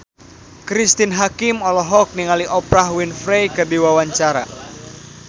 Cristine Hakim olohok ningali Oprah Winfrey keur diwawancara